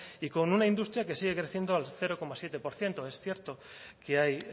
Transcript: y con una industria que sigue creciendo al cero coma siete por ciento es cierto que hay